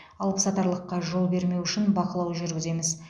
алыпсатарлыққа жол бермеу үшін бақылау жүргіземіз